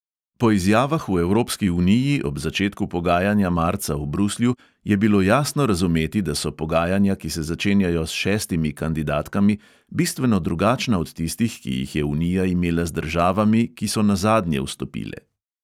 Po izjavah v evropski uniji ob začetku pogajanja marca v bruslju je bilo jasno razumeti, da so pogajanja, ki se začenjajo s šestimi kandidatkami, bistveno drugačna od tistih, ki jih je unija imela z državami, ki so nazadnje vstopile.